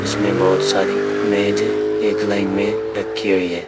इसमें बहुत सारी मेज है एक लाइन में रखी हुई है।